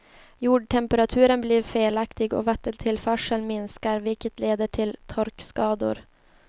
Jordtemperaturen blir felaktig och vattentillförseln minskar, vilket leder till torkskador.